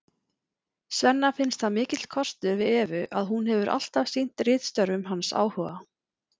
Svenna finnst það mikill kostur við Evu að hún hefur alltaf sýnt ritstörfum hans áhuga.